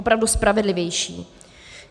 Opravdu spravedlivější.